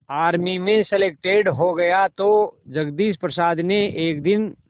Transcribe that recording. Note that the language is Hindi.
आर्मी में सलेक्टेड हो गया तो जगदीश प्रसाद ने एक दिन